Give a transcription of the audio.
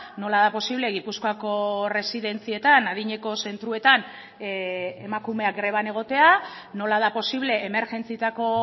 nola da posible gipuzkoako erresidentzietan adineko zentroetan emakumeak greban egotea nola da posible emergentzietako